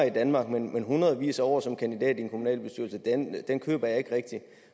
i danmark men den med hundredvis af år som kandidat til en kommunalbestyrelse køber jeg ikke rigtig